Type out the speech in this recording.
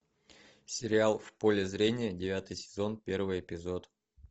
сериал в поле зрения девятый сезон первый эпизод